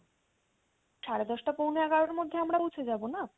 সাড়ে দশটা পৌনে এগারোটার মধ্যে আমরা পৌঁছে যাবোনা?